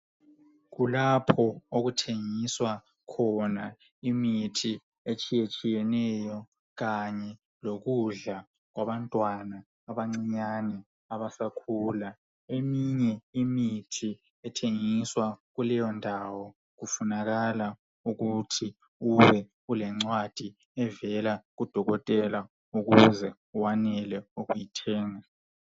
Kulapho okuthengiswa khona imithi etshiye tshiyeneyo kanye lokudla kwabantwana abancinyane abasakhula eminye imithi ethengiswa kuleyo ndawo kufunakala ukuthi ubelencwadi evela kudokotela ukuze wenelise ukuyithenga.